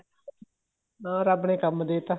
ਉਹ ਰੱਬ ਨੇ ਕੰਮ ਦੇ ਤਾ